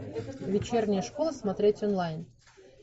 вечерняя школа смотреть онлайн